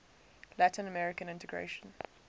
latin american integration